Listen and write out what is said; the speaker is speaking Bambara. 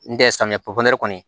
N tɛ samiyɛ pɔpiniyɛrɛri kɔni